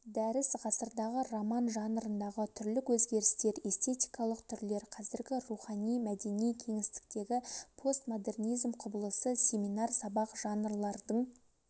дәріс ғасырдағы роман жанрындағы түрлік өзгерістер эстетикалық түрлер қазіргі рухани-мәдени кеңістіктегі постмодернизм құбылысы семинар сабақ жанрлардың